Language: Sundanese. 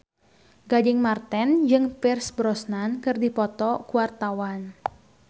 Gading Marten jeung Pierce Brosnan keur dipoto ku wartawan